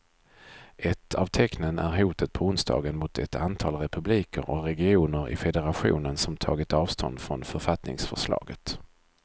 Ett av tecknen är hotet på onsdagen mot ett antal republiker och regioner i federationen som tagit avstånd från författningsförslaget.